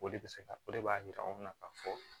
O de bɛ se ka o de b'a yira anw na k'a fɔ